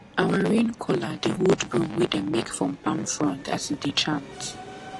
our rain caller dey hold broom wey dem make from palm frond as e e dey chant